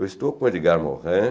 Eu estou com Edgar Morin,